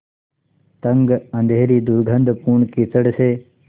तंग अँधेरी दुर्गन्धपूर्ण कीचड़ से